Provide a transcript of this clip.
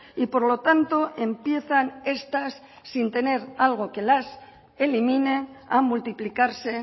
y por lo tanto empiezan estas sin tener algo que las elimine a multiplicarse